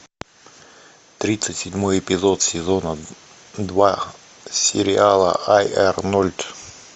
тридцать седьмой эпизод сезона два сериала ай арнольд